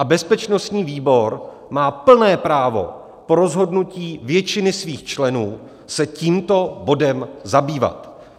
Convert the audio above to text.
A bezpečnostní výbor má plné právo po rozhodnutí většiny svých členů se tímto bodem zabývat.